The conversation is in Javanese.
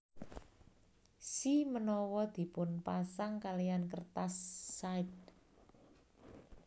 Shimenawa dipunpasang kalihan kertas shide